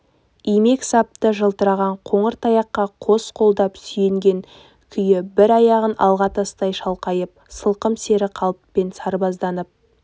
имек сапты жылтыраған қоңыр таяққа қос қолдап сүйенген күйі бір аяғын алға тастай шалқайып сылқым сері қалыппен сырбазданып